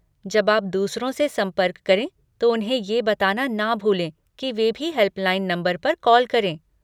जब आप दूसरों से संपर्क करें तो उन्हें ये बताना ना भूलें की वे भी हेल्पलाइन नंबर पर कॉल करें।